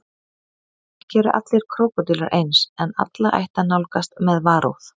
Ekki eru allir krókódílar eins en alla ætti að nálgast með varúð.